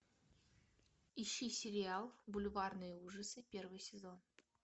ищи сериал бульварные ужасы первый сезон